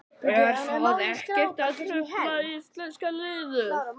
Er það ekkert að trufla íslenska liðið?